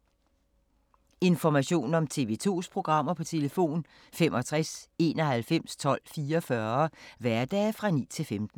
Information om TV 2's programmer: 65 91 12 44, hverdage 9-15.